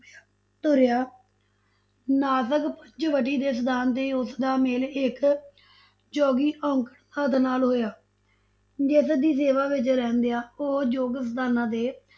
ਤੁਰਿਆ, ਨਾਸਕ ਪੰਚਵਟੀ ਦੇ ਸਥਾਨ ਤੇ ਉਸਦਾ ਮੇਲ ਇਕ ਜੋਗੀ ਅਓਕੜ ਨਾਥ ਨਾਲ ਹੋਇਆ, ਜਿਸਦੀ ਸੇਵਾ ਵਿੱਚ ਰਹਿੰਦੀਆਂ ਉਹ ਯੋਗ ਸਥਾਨਾ ਤੇ